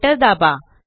Enter दाबा